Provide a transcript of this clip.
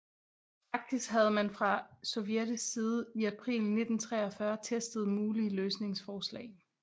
Faktisk havde man fra sovjetisk side i april 1943 testet mulige løsningsforslag